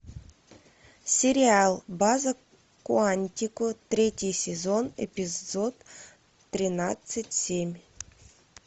сериал база куантико третий сезон эпизод тринадцать семь